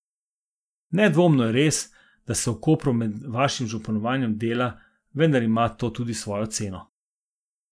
Nedvomno je res, da se v Kopru pod vašim županovanjem dela, vendar ima to tudi svojo ceno.